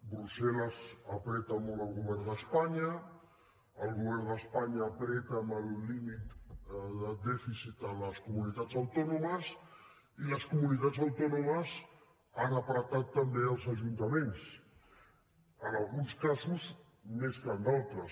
brussel·les apreta molt el govern d’espanya el govern d’espanya apreta amb el límit de dèficit les comunitats autònomes i les comunitats autònomes han apretat també els ajuntaments en alguns casos més que en d’altres